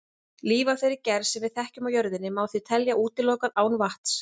Líf af þeirri gerð sem við þekkjum á jörðinni má því teljast útilokað án vatns.